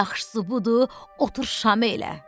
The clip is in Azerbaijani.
Yaxşısı budur, otur şamelə.